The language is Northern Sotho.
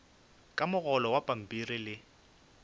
o mogolo wa pampiri le